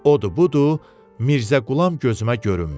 Odur-budur, Mirzəqulam gözümə görünmür.